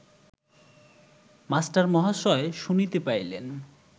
মাস্টারমহাশয় শুনিতে পাইলেন